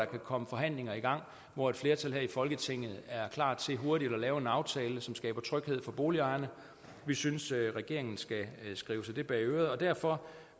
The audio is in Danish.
komme forhandlinger i gang hvor et flertal her i folketinget er klar til hurtigt at lave en aftale som skaber tryghed for boligejerne og vi synes at regeringen skal skrive sig det bag øret derfor